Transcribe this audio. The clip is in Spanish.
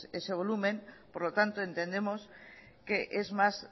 ese volumen por lo tanto entendemos que es más